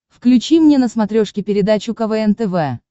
включи мне на смотрешке передачу квн тв